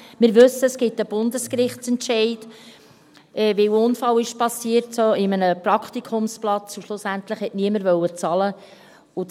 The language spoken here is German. Wir wissen, es gibt einen Bundesgerichtsentscheid, weil in einem solchen Praktikumsplatz ein Unfall passiert ist und schlussendlich niemand bezahlen wollte.